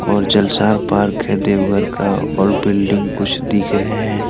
और जलसार पार्क है देवघर का और बिल्डिंग कुछ दिख रहे हैं।